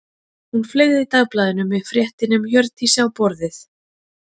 Hún fleygði dagblaðinu með fréttinni um Hjördísi á borðið.